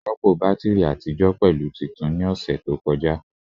Rọpo batiri atijọ pẹlu tuntun ni ọsẹ to kọja